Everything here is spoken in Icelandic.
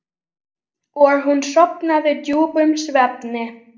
Og hún sofnaði djúpum svefni.